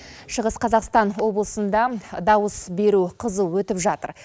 шығыс қазақстан облысында дауыс беру қызу өтіп жатыр